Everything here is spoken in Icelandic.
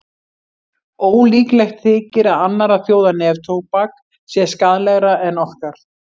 Ólíklegt þykir að annarra þjóða neftóbak sé skaðlegra en okkar.